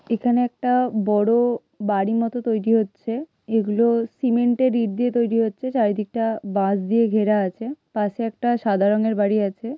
এখানে একটা বড় বাড়ি মতো তৈরী হচ্ছে এগুলো সিমেন্ট -এর ইট দিয়ে তৈরী হচ্ছে। চারিদিকটা বাঁশ দিয়ে ঘেরা আছে পাশে একটা সাদা রং এর বাড়ি আছে।